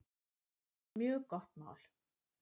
Mjög gott mál.